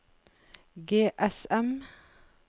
GSM